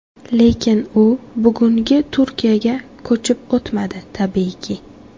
Lekin u bugungi Turkiyaga ko‘chib o‘tmadi tabiiyki.